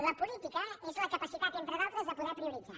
la política és la capacitat entre d’altres de poder prioritzar